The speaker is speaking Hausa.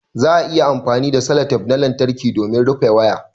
Za'a iya amfani da sellotape na lantarƙi domin rufe waya